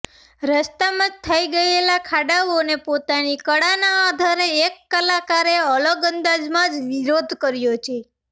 રસ્તામાં થઇ ગયેલા ખાડાઓને પોતાની કળાના આધારે એક કલાકારે અલગ અંદાજમાં જ વિરોધ કર્યો છે